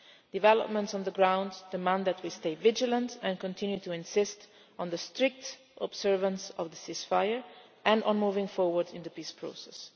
Developments on the ground demand that we stay vigilant and continue to insist on the strict observance of the ceasefire and on moving forward in the peace process.